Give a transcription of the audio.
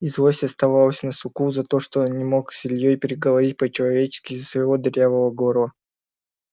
и злость оставалась на суку за то что он не мог с ильёй переговорить по-человечески из-за своего дырявого горла